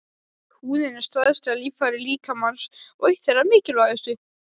Húðin er stærsta líffæri líkamans og eitt þeirra mikilvægustu.